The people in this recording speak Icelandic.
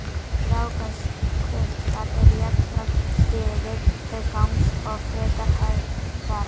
rákaskunkar eru jafnframt stirðir til gangs og frekar hægfara